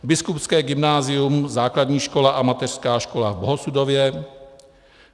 Biskupské gymnázium, Základní škola a Mateřská škola v Bohosudově;